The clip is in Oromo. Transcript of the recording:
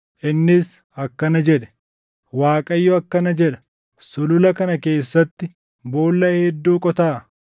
innis akkana jedhe; “ Waaqayyo akkana jedha: Sulula kana keessatti boolla hedduu qotaa.